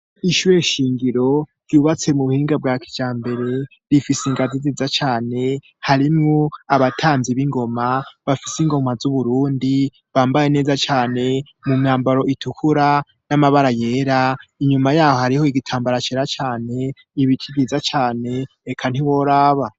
Ishure shingiro ryubatse mu buhinga bwa kijambere rifise ingazi nziza cane, harimwo abatamvyi b'ingoma bafise ingoma z'Uburundi bambaye neza cane mu myambaro itukura n'amabara yera, inyuma yaho hariho igitambara cera cane, ibiti vyiza cane eka ntiworaba.